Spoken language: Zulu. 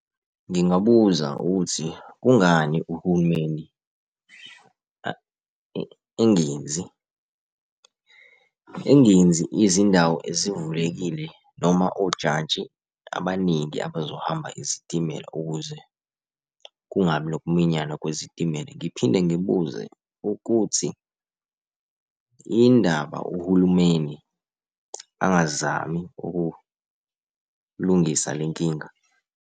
Ngingabuza ukuthi kungani uhulumeni engenzi, engenzi izindawo ezivulekile noma ojantshi abaningi abazohamba izitimela ukuze kungabi nok'minyana kwezitimela. Ngiphinde ngibuze ukuthi yini indaba uhulumeni angazami ukulungisa le nkinga?